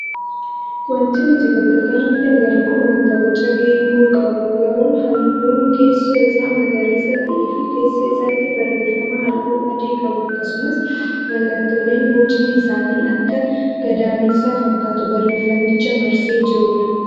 Wanti nuti bakka kanatti agarru kun wanta boca geengoo qabu garuu halluun keessoo isaa magariisa ta'ee fi keessa isaatti barreeffama halluu adii qabu akkasumas mallattooleen bocni isaanii akka gadameessaa fakkaatu barreeffamicha marsee jirudha.